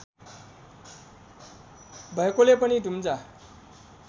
भएकोले पनि दुम्जा